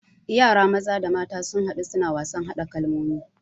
Yara maza da mata sun hadu suna wasan hada kalmomi